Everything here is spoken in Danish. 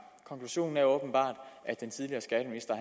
konklusionen er åbenbart at den tidligere skatteminister